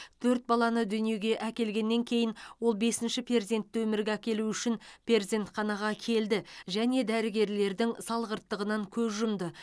төрт баланы дүниеге әкелгеннен кейін ол бесінші перзентті өмірге әкелу үшін перзентханаға келді және дәрігерлердің салғырттығынан көз жұмды